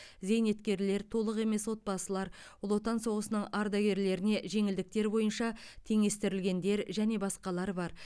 зейнеткерлер толық емес отбасылар ұлы отан соғысының ардагерлеріне жеңілдіктер бойынша теңестірілгендер және басқалар бар